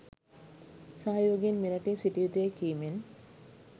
සහයෝගයෙන් මෙරටේ සිටිය යුතුයැයි කීමෙන්